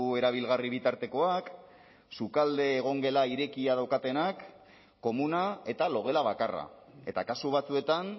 erabilgarri bitartekoak sukalde egongela irekia daukatenak komuna eta logela bakarra eta kasu batzuetan